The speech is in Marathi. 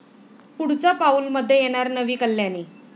पुढचं पाऊल'मध्ये येणार नवी कल्याणी